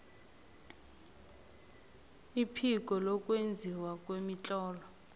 iphiko lokwenziwa kwemitlolo